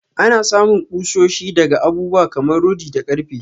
Anna samun kushoshi daga abubuwa kamar rodi da karfe.